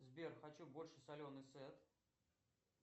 сбер хочу больше соленый сет